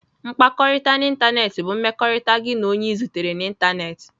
Mkpakọrịta n'ịntanetị bụ mmekọrịta gị na onye ị zutere na ịntanetị.